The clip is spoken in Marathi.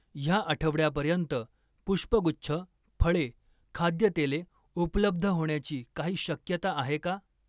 ह्या आठवड्यापर्यंत पुष्पगुच्छ, फळे, खाद्यतेले उपलब्ध होण्याची काही शक्यता आहे का?